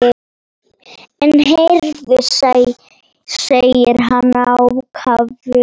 En heyrðu, segir hann ákafur.